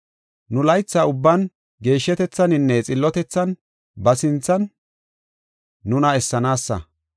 Nu laytha ubban geeshshatethaninne xillotethan ba sinthan nuna essanaasa.